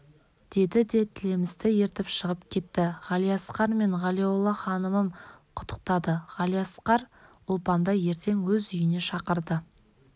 деді де тілемісті ертіп шығып кетті ғалиасқар мен ғалиолла ханымын құттықтады ғалиасқар ұлпанды ертең өз үйіне шақырды